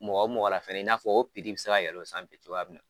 Mɔgɔ mɔgɔ la fɛnɛ in n'a fɔ o bɛ se ka yɛlɛ o san cogoya min na.